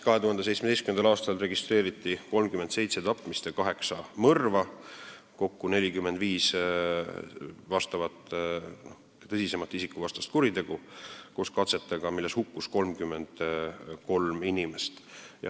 2017. aastal registreeriti 37 tapmist ja 8 mõrva, kokku 45 tõsisemat isikuvastast kuritegu , mille tõttu hukkus 33 inimest.